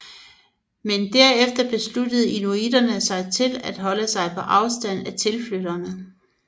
Men derefter besluttede inuitterne sig til at holde sig på afstand af tilflytterne